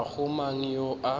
ga go mang yo a